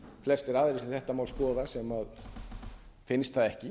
flestir aðrir sem þetta mál skoða sem finnst það ekki